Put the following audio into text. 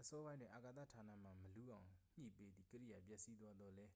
အစောပိုင်းတွင် အာကာသ ဌာနမှ မလူးအောင်ညှိပေးသည့် ကိရိယာ ပျက်စီးသွားသောလည်း